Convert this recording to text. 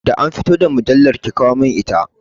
Da an fito da mujallar, ki kawo mun ita!